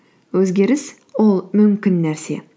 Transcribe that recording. өзгеріс ол мүмкін нәрсе